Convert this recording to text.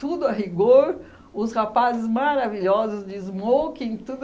Tudo a rigor, os rapazes maravilhosos de smoking, tudo...